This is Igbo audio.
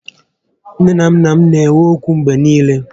Nné na nnà m na enwe ókwú mgbé niile